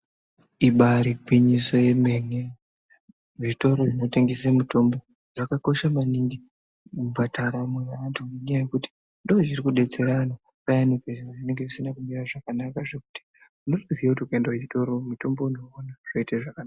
Ibairi gwinyiso yemene zvitoro zvino tengese mitombo zvakakosha maningi kubhadhara moyo ye antu ne nyaya yekuti ndozviri kudetsera anhu payani zviro zvinenge zvisina kumira zvakanaka zvekuti unotoziya kuti ukaenda ku chitoro mutombo unowu ona zvoite zvakanaka.